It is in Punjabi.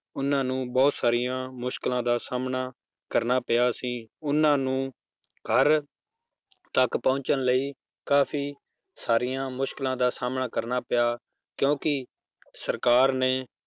ਉਹਨਾਂ ਨੂੰ ਬਹੁਤ ਸਾਰੀਆਂ ਮੁਸ਼ਕਲਾਂ ਦਾ ਸਾਹਮਣਾ ਕਰਨਾ ਪਿਆ ਸੀ ਉਹਨਾਂ ਨੂੰ ਘਰ ਤੱਕ ਪਹੁੰਚਣ ਲਈ ਕਾਫ਼ੀ ਸਾਰੀਆਂ ਮੁਸ਼ਕਲਾਂ ਦਾ ਸਾਹਮਣਾ ਕਰਨਾ ਪਿਆ ਕਿਉਂਕਿ ਸਰਕਾਰ ਨੇ